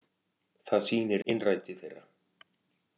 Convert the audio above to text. Það sýnir innræti þeirra